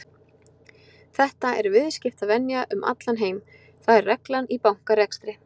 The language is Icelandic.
Þetta er viðskiptavenja um allan heim, það er reglan í bankarekstri.